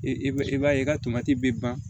E b'a i b'a ye i ka tomati bɛ ban